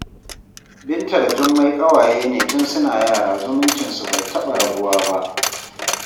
Binta da Jummai ƙawaye ne tun suna yara zumuncinsu bai taɓa rabuwa ba